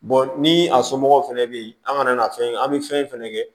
ni a somɔgɔw fɛnɛ be yen an ŋana fɛn an be fɛn fɛnɛ kɛ